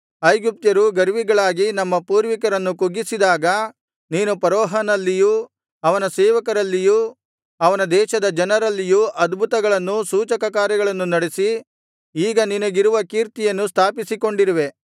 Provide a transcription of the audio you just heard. ಐಗುಪ್ತ್ಯರು ಗರ್ವಿಗಳಾಗಿ ನಮ್ಮ ಪೂರ್ವಿಕರನ್ನು ಕುಗ್ಗಿಸಿದಾಗ ನೀನು ಫರೋಹನಲ್ಲಿಯೂ ಅವನ ಸೇವಕರಲ್ಲಿಯು ಅವನ ದೇಶದ ಜನರಲ್ಲಿಯೂ ಅದ್ಭುತಕಾರ್ಯಗಳನ್ನೂ ಸೂಚಕಕಾರ್ಯಗಳನ್ನು ನಡೆಸಿ ಈಗ ನಿನಗಿರುವ ಕೀರ್ತಿಯನ್ನು ಸ್ಥಾಪಿಸಿಕೊಂಡಿರುವೆ